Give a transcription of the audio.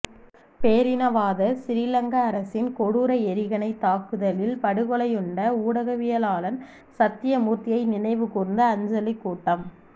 பேரினவாத சிறிலங்கா அரசின் கொடூர எறிகணைத் தாக்குதலில் படுகொலையுண்ட ஊடகவியலாளன் சத்தியமூர்த்தியை நினைவுகூர்ந்து அஞ்சலிக் கூட்டம்